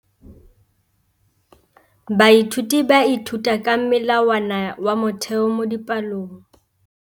Baithuti ba ithuta ka molawana wa motheo mo dipalong.